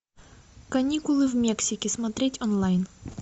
каникулы в мексике смотреть онлайн